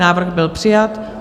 Návrh byl přijat.